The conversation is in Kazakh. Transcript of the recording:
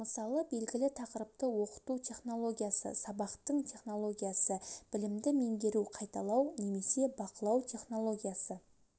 мысалы белгілі тақырыпты оқыту технологиясы сабақтың технологиясы білімді меңгеру қайталау немесе бақылау технологиясы